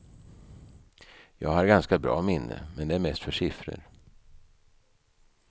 Jag har ganska bra minne, men det är mest för siffror.